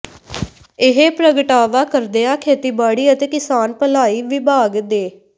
ਇਹ ਪ੍ਰਗਟਾਵਾ ਕਰਦਿਆਂ ਖੇਤੀਬਾੜੀ ਅਤੇ ਕਿਸਾਨ ਭਲਾਈ ਵਿਭਾਗ ਦੇ